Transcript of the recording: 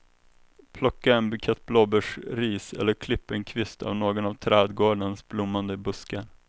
Plocka en bukett blåbärsris eller klipp en kvist av någon av trädgårdens blommande buskar.